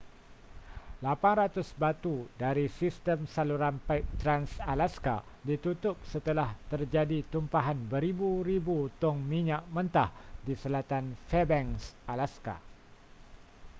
800 batu dari sistem saluran paip trans-alaska ditutup setelah terjadi tumpahan beribu-ribu tong minyak mentah di selatan fairbanks alaska